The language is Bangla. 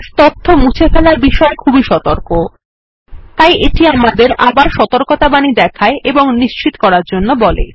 বেস তথ্য মুছে ফেলার বিষয়ে খুবই সতর্ক তাই এটি আমাদের সতর্কতাবাণী দেখায় এবং আবার নিশ্চিত করতে বলে